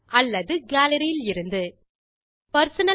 அல்லது கேலரி இலிருந்து ஒவ்வொன்றையும் விளக்கமாக பார்க்கலாம்